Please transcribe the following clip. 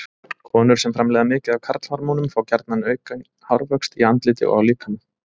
Konur sem framleiða mikið af karlhormónum fá gjarna aukinn hárvöxt í andliti og á líkama.